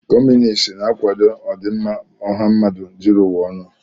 Kọmunist na-akwado ọdịmma ọha mmadụ zuru ụwa ọnụ.